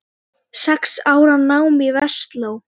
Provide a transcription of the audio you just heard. Sex ára nám í Versló.